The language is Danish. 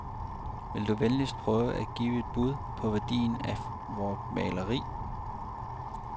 Vil du venligst prøve at give et bud på værdien af vort maleri.